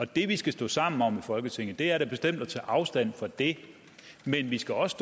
det vi skal stå sammen om i folketinget er da bestemt at tage afstand fra det men vi skal også